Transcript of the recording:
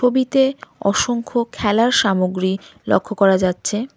ছবিতে অসংখ্য খেলার সামগ্রী লক্ষ করা যাচ্ছে।